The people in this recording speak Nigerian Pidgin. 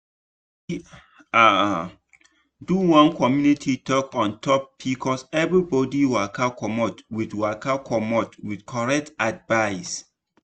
we um do one community talk on top pcoseverybody waka commot with waka commot with correct advice.